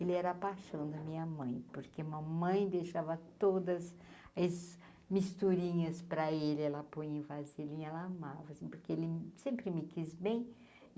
Ele era a paixão da minha mãe, porque mamãe deixava todas esses misturinhas para ele, ela põe em vasilinha, ela amava, porque ele sempre me quis bem.